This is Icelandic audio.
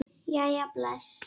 Jæja bless